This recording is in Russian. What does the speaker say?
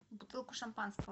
бутылку шампанского